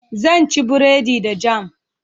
Zan ci buredi da jam